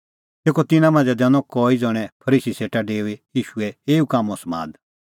तेखअ तिन्नां मांझ़ै दैनअ कई ज़ण्हैं फरीसी सेटा डेऊई ईशूए एऊ कामों समाद